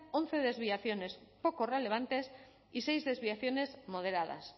once desviaciones poco relevantes y seis desviaciones moderadas